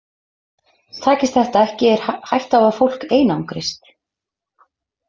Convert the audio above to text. Takist þetta ekki er hætta á að fólk einangrist.